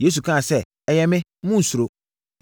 Yesu kaa sɛ, “Ɛyɛ me, Monnsuro!”